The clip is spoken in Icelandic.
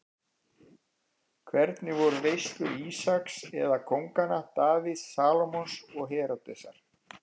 Hvernig voru veislur Ísaks eða kónganna Davíðs, Salómons og Heródesar?